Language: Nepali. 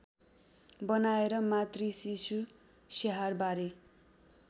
बनाएर मातृशिशु स्याहारबारे